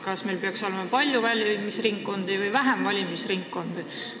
Kas meil peaks olema palju või vähem valimisringkondi?